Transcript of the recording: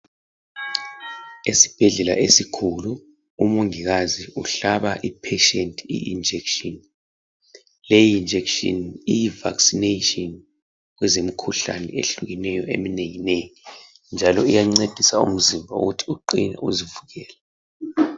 Esibhedlela esikhulu umongikazi umhlaba isigulane I ijekiseni leli jekiseni liyivaccination kwezempilakahle ehlukeneyo eminenginengi njalo iyancedisa umzimba ukuthi uqine uzivukele